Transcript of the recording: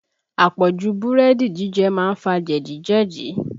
Àpọ̀jù búrẹ́dì jíjẹ má ń fa jẹ̀dí jẹ̀dí